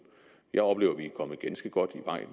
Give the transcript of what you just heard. jeg oplever at vi er kommet ganske godt i vej